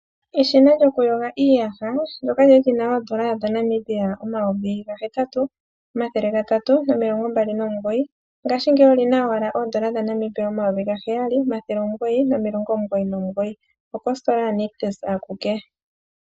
Eshina lyokuyoga iiyaha ndoka lya li lyina oondola N$ 8 329. 00, ngaashingeyi olina owala N$7 999.00, okositola ya nictus akuke.